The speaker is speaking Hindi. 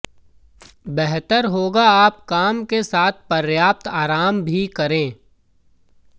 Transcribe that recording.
बेहतर होगा आप काम के साथ पर्याप्त आराम भी करें